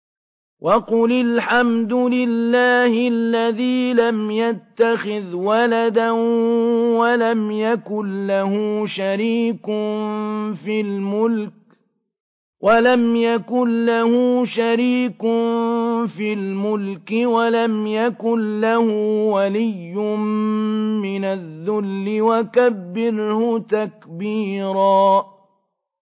وَقُلِ الْحَمْدُ لِلَّهِ الَّذِي لَمْ يَتَّخِذْ وَلَدًا وَلَمْ يَكُن لَّهُ شَرِيكٌ فِي الْمُلْكِ وَلَمْ يَكُن لَّهُ وَلِيٌّ مِّنَ الذُّلِّ ۖ وَكَبِّرْهُ تَكْبِيرًا